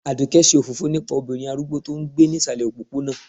aduke ṣe òfófó nípà obirin arúgbó to n gbé ni ìsàlè òpóponà